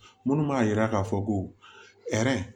Minnu b'a yira k'a fɔ ko